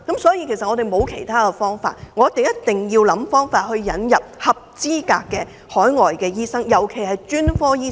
所以，我們沒有其他辦法，一定要想方法引入合資格的海外醫生來港服務，尤其是專科醫生。